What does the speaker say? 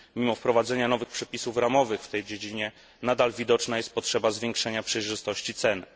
Mimo wprowadzenia nowych przepisów ramowych w tej dziedzinie nadal widoczna jest potrzeba zwiększenia przejrzystości cen.